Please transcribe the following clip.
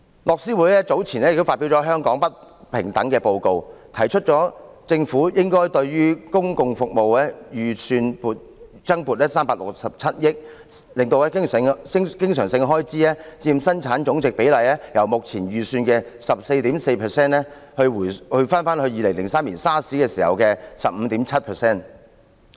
樂施會早前亦發表了《香港不平等報告》，提出政府應該對公共服務預算增撥367億元，使經常性開支佔本地生產總值比例由目前預算的 14.4%， 重回2003年 SARS 時的 15.7%。